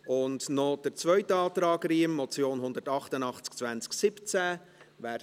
Und wir kommen noch zum Antrag Riem zur Motion 188-2017: